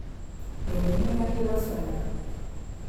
Bende ing'eyo kaka iloso nyoyo?